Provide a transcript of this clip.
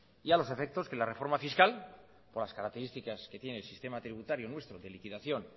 y a los efectos que la reforma fiscal con las características que tiene el sistema tributario nuestro de liquidación